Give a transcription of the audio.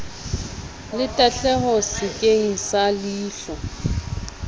le tahleho sekeng sa leilho